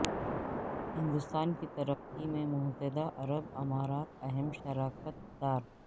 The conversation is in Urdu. ہندوستان کی ترقی میں متحدہ عرب امارات اہم شراکت دار